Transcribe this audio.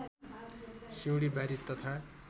सिउँडी बारी तथा